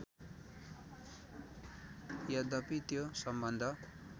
यद्यपि त्यो सम्बन्ध